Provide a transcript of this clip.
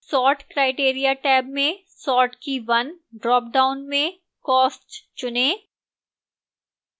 sort criteria tab में sort key 1 dropdown में cost चुनें